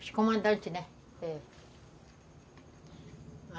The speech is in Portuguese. Os comandantes, né? É.